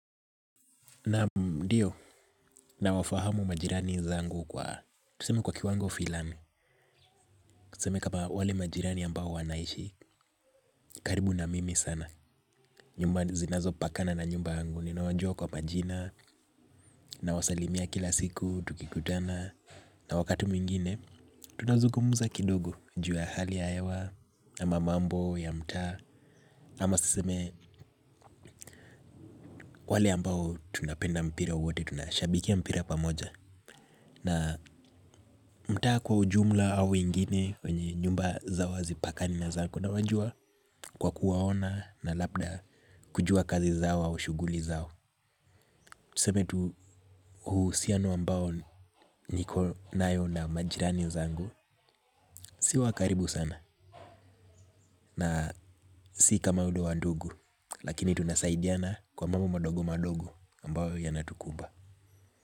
Naam ndio, nawafahamu majirani zangu kwa, tuseme kwa kiwango filani, tuseme kama wale majirani ambao wanaishi, karibu na mimi sana, nyumba zinazo pakana na nyumba yangu, ninawajua kwa majina, nawasalimia kila siku, tukikutana, na wakati mwingine, tunazugumuza kidogo, juu ya hali ya ewa, ama mambo ya mtaa, ama tuseme wale ambao tunapenda mpira wote, tunashabikia mpira pamoja, na mtaa kwa ujumla au ingine kwenye nyumba zao hazipakani na zangu nawajua kwa kuwaona na labda kujua kazi zao au shuguli zao. Tuseme tu huusiano ambao niko nayo na majirani zangu. Si wakaribu sana na si kama ule wa ndugu lakini tunasaidiana kwa mambo madogo madogo ambao yanatukumba.